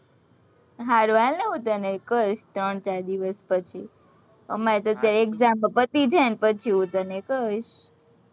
સારું ચાલને હું તને કઈશ, ત્રણ ચાર દિવસ પછી, અમારે અત્યારે exam પતિ જાય, પછી હું તને કઇશ